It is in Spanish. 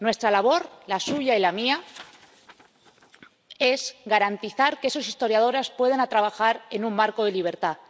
Nuestra labor, la suya y la mía, es garantizar que los historiadores puedan trabajar en un marco de libertad.